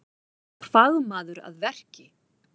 Fagmaður að verki